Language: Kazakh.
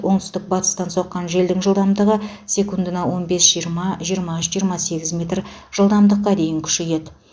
оңтүстік батыстан соққан желдің жылдамдығы секундына он бес жиырма жиырма үш жиырма сегіз метр жылдамдыққа дейін күшейеді